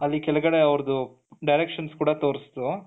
ಅಲ್ಲಿ ಕೆಳಗಡೆ ಅವರದು directions ಕೂಡ ತೋರ್ಸುತು,